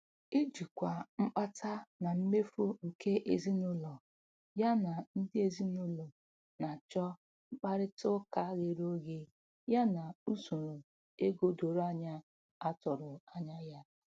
Ijikwa mkpata na mmefu nke ezinụlọ ya na ndị ezinụlọ na-achọ mkparịta ụka ghere oghe ya na usoro ego doro anya a tụrụ anya ya.